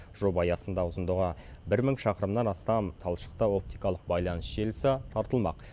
жоба аясында ұзындығы бір мың шақырымнан астам талшықты оптикалық байланыс желісі тартылмақ